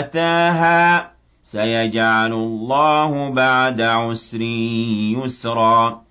آتَاهَا ۚ سَيَجْعَلُ اللَّهُ بَعْدَ عُسْرٍ يُسْرًا